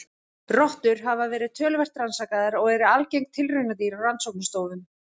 Rottur hafa verið töluvert rannsakaðar og eru algeng tilraunadýr á rannsóknastofum.